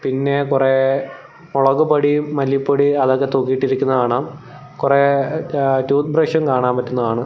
പിന്നെ കുറെ മുളകുപൊടിയും മല്ലിപ്പൊടിയും അതൊക്കെ തൂക്കി ഇട്ടിരിക്കുന്നത് കാണാം കുറെ ഏഹ് ടൂത്ത് ബ്രഷും കാണാൻ പറ്റുന്നതാണ്.